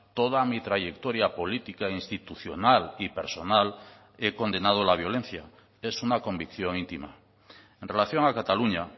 toda mi trayectoria política institucional y personal he condenado la violencia es una convicción íntima en relación a cataluña